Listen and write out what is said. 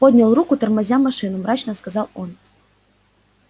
поднял руку тормозя машину мрачно сказал он